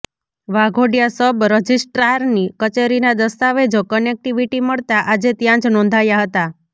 Waghodia sub રજિસ્ટ્રારની કચેરીના દસ્તાવેજો કનેક્ટિવીટી મળતાં આજે ત્યાંજ નોંધાયા હતા